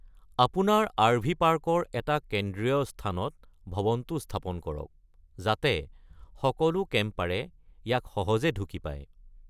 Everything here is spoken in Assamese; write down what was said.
আপোনাৰ আৰ.ভি. পাৰ্কৰ এটা কেন্দ্ৰীৰ স্থানত ভৱনটো স্থাপন কৰক, যাতে সকলো কেম্পাৰে ইয়াক সহজে ঢুকি পায়।